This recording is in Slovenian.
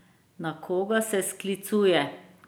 Na koga se sklicuje?